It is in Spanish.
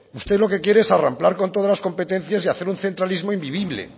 usted lo que quiere es arramplar con todas las competencias y hacer un centralismo invivible